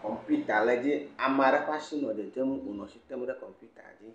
kɔmpita le edzi ame aɖe ƒe asi nɔ dzedzem wonɔ asi tem ɖe kɔmpita la dzi.